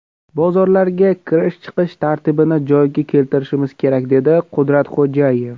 Bozorlarga kirish-chiqish tartibini joyiga keltirishimiz kerak”, dedi Qudratxo‘jayev.